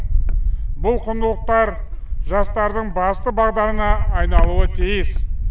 бұл құндылықтар жастардың басты бағдарына айналуы тиіс